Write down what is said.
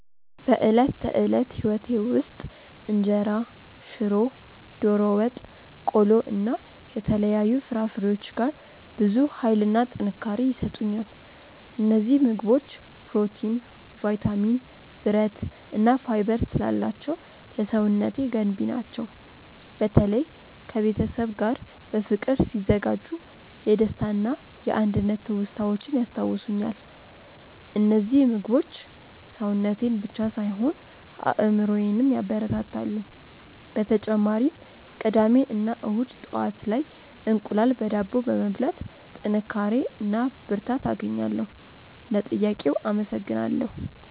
በዕለት ተዕለት ሕይወቴ ውስጥ እንጀራ፣ ሽሮ፣ ዶሮ ወጥ፣ ቆሎ እና የተለያዩ ፍራፍሬዎች ጋር ብዙ ኃይልና ጥንካሬ ይሰጡኛል። እነዚህ ምግቦች ፕሮቲን፣ ቫይታሚን፣ ብረት እና ፋይበር ስላላቸው ለሰውነቴ ገንቢ ናቸው። በተለይ ከቤተሰብ ጋር በፍቅር ሲዘጋጁ የደስታና የአንድነት ትውስታዎችን ያስታውሱኛል። እነዚህ ምግቦች ሰውነቴን ብቻ ሳይሆን አእምሮዬንም ያበረታታሉ። በተጨማሪም ቅዳሜ እና እሁድ ጠዋት ላይ እንቁላል በዳቦ በመብላት ጥንካሬ እና ብርታት አገኛለሁ። ለጥያቄው አመሰግናለሁ።